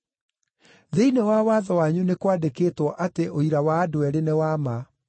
Thĩinĩ wa watho wanyu nĩ kwandĩkĩtwo atĩ ũira wa andũ eerĩ nĩ wa ma.